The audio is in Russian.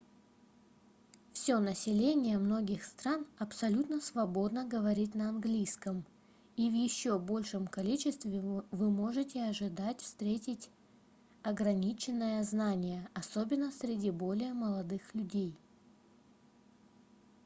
всё население многих стран абсолютно свободно говорит на английском и в ещё большем количестве вы можете ожидать встретить ограниченное знание особенно среди более молодых людей